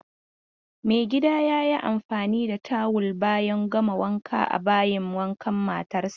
Maigida ya yi amfani da tawul bayan gama wanka a bayin wankan matarsa.